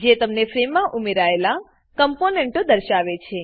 જે તમને ફ્રેમમાં ઉમેરાયેલા કમ્પોનેંટો દર્શાવે છે